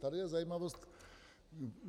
Tady je zajímavost.